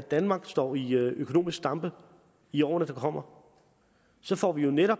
danmark står i økonomisk stampe i årene der kommer så får vi jo netop